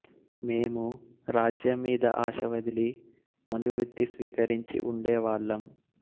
మేమూ రాజ్యం మీద ఆశ వదిలి మునివృత్తి స్వీకరించి ఉండేవాళ్ళం